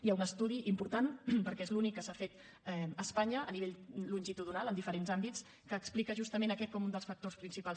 hi ha un estudi important perquè és l’únic que s’ha fet a espanya a nivell longitudinal en diferents àmbits que explica justament aquest com un dels factors principals